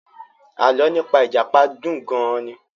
Alọ́ nípa ìjàpá dùn gan-an ni.